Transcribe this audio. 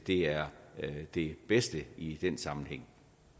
er det bedste i den sammenhæng